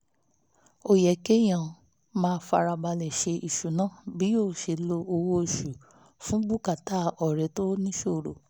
ó yẹ kéèyàn máa fara balẹ̀ ṣe ìṣúná bí yóò ṣe lo owó oṣù fún bùkátà ọ̀rẹ́ tó níṣòro